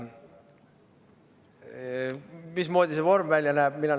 Mismoodi see vorm välja näeb?